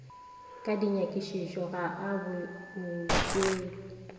ka dinyakišišo ga a boele